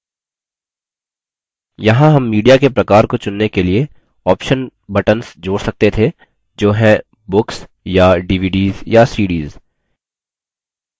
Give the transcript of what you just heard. यहाँ हम media के प्रकार को चुनने के लिए option buttons जोड़ सकते थे जो हैं books या dvds या cds